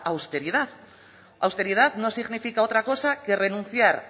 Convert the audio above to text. austeridad austeridad no significa otra cosa que renunciar